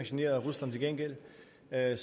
at